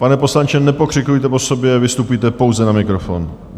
Pane poslanče, nepokřikujte po sobě, vystupujte pouze na mikrofon.